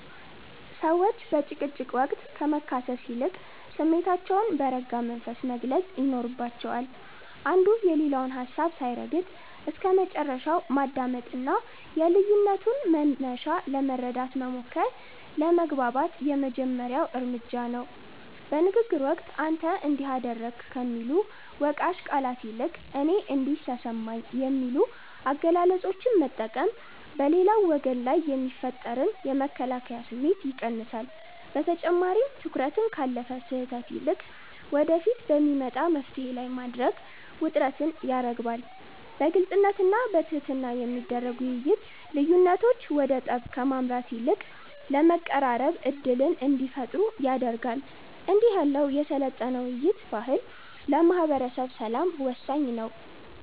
ሰዎች በጭቅጭቅ ወቅት ከመካሰስ ይልቅ ስሜታቸውን በረጋ መንፈስ መግለጽ ይኖርባቸዋል። አንዱ የሌላውን ሀሳብ ሳይረግጥ እስከመጨረሻው ማዳመጥና የልዩነቱን መነሻ ለመረዳት መሞከር ለመግባባት የመጀመሪያው እርምጃ ነው። በንግግር ወቅት "አንተ እንዲህ አደረግክ" ከሚሉ ወቃሽ ቃላት ይልቅ "እኔ እንዲህ ተሰማኝ" የሚሉ አገላለጾችን መጠቀም በሌላው ወገን ላይ የሚፈጠርን የመከላከያ ስሜት ይቀንሳል። በተጨማሪም፣ ትኩረትን ካለፈ ስህተት ይልቅ ወደፊት በሚመጣ መፍትሔ ላይ ማድረግ ውጥረትን ያረግባል። በግልጽነትና በትህትና የሚደረግ ውይይት፣ ልዩነቶች ወደ ጠብ ከማምራት ይልቅ ይበልጥ ለመቀራረብ ዕድል እንዲፈጥሩ ያደርጋል። እንዲህ ያለው የሰለጠነ የውይይት ባህል ለማህበረሰብ ሰላም ወሳኝ ነው።